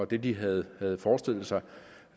det de havde havde forestillet sig